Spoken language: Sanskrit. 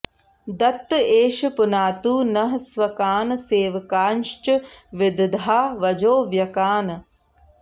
दत्त एष पुनातु नः स्वकान् सेवकांश्च विदधा वजो व्यकान्